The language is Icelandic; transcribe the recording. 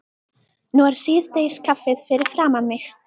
Nú er síðdegiskaffið fyrir framan mig.